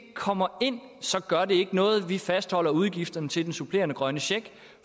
kommer ind så gør det ikke noget at vi fastholder udgifterne til den supplerende grønne check